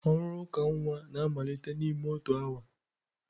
Ọrụ uka nwa na-amalite n'ime otu awa.